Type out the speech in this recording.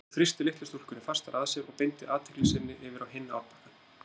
Hún þrýsti litlu stúlkunni fastar að sér og beindi athygli sinni yfir á hinn árbakkann.